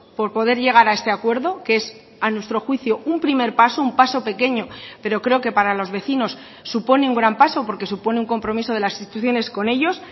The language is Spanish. por poder llegar a este acuerdo que es a nuestro juicio un primer paso un paso pequeño pero creo que para los vecinos supone un gran paso porque supone un compromiso de las instituciones con ellos